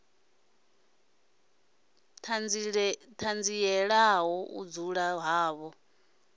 i ṱanzielaho u dzula havho